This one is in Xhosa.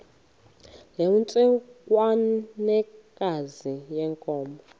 loo ntsengwanekazi yenkomo